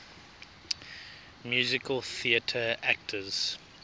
musical theatre actors